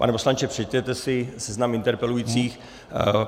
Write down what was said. Pane poslanče, přečtěte si seznam interpelujících.